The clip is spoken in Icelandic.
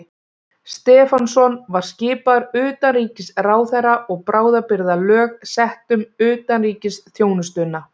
Stefánsson var skipaður utanríkisráðherra og bráðabirgðalög sett um utanríkisþjónustuna.